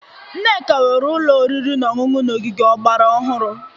Nneka nwere ụlọ oriri na ọṅụṅụ n'ogige ọgbara ọhụrụ.